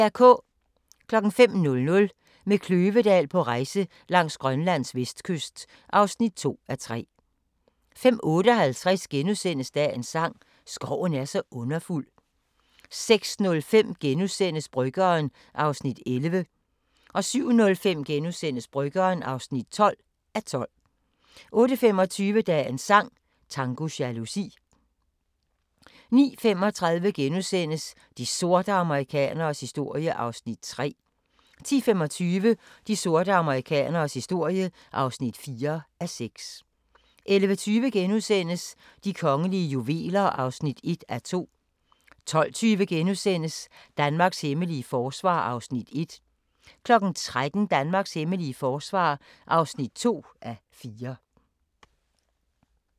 05:00: Med Kløvedal på rejse langs Grønlands vestkyst (2:3) 05:58: Dagens sang: Skoven er så underfuld * 06:05: Bryggeren (11:12)* 07:05: Bryggeren (12:12)* 08:25: Dagens sang: Tango jalousi 09:35: De sorte amerikaneres historie (3:6)* 10:25: De sorte amerikaneres historie (4:6) 11:20: De kongelige juveler (1:2)* 12:20: Danmarks hemmelige forsvar (1:4)* 13:00: Danmarks hemmelige forsvar (2:4)